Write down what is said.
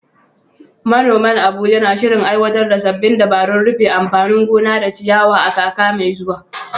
Manoman Abuja na shirin aiwatar da sabbin dabarun rufe anfanin gona da ciyawa a kakar mai zuwa.